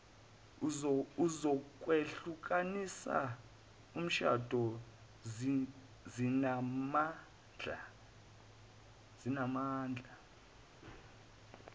zokwehlukanisa umshado zinamandla